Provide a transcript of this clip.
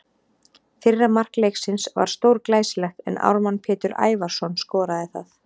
Fyrra mark leiksins var stórglæsilegt en Ármann Pétur Ævarsson skoraði það.